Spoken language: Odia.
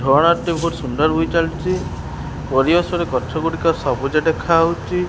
ବହୁତ୍ ସୁନ୍ଦର ଚାଲିଚି। ପରିବେଶରେ ଗଛଗୁଡ଼ିକ ସବୁଜ ଦେଖାହୋଉଚି।